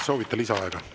Soovite lisaaega?